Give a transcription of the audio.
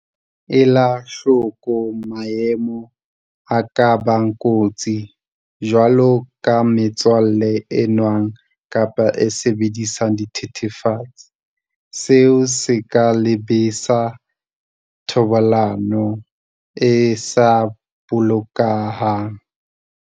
Ela hloko maemo a ka bang kotsi, jwaloka metswalle e nwang kapa e sebedisang dithethefatsi, seo se ka lebisa thobalanong e sa bolokehang.